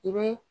I bɛ